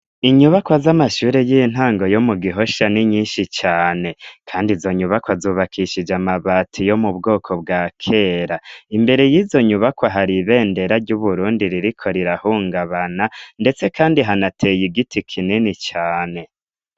Inyubakwa z'amashure y'intango yo mu Gihosha, ni nyinshi cane, kandi izo nyubakwa zubakishije amabati yo mu bwoko bwa kera, imbere y'izo nyubakwa hari ibendera ry'Uburundi ririko rirahungabana, ndetse kandi hanateye igiti kinini cane.